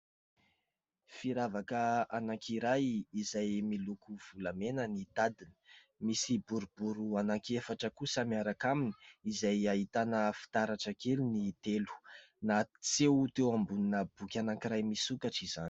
Firavaka anankiray izay miloko volamena ny tadiny. Misy boribory ananki-efatra kosa miaraka aminy izay ahitana fitaratra kely ny telo. Naseo teo ambonina boky anankiray misokatra izany.